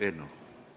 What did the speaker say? Aitäh!